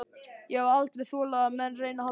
Ég hef aldrei þolað að menn reyni að halda mér.